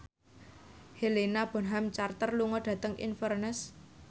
Helena Bonham Carter lunga dhateng Inverness